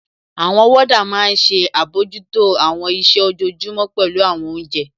Àwọn wọ́ọ́dà máa n ṣe àbojútó àwọn iṣẹ́ ojojúmọ́, pẹ̀lú àwọn oúnjẹ